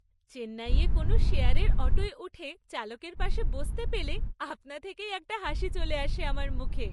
চেন্নাইয়ে কোনও শেয়ারের অটোয় উঠে চালকের পাশে বসতে পেলে আপনা থেকেই একটা হাসি চলে আসে আমার মুখে।